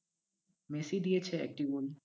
Messi দিয়েছে একটি গোল,